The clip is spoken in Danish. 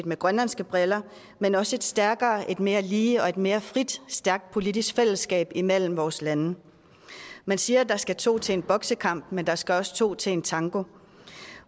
med grønlandske briller men også et stærkere et mere lige og et mere frit og stærkt politisk fællesskab imellem vores lande man siger at der skal to til en boksekamp men der skal også to til en tango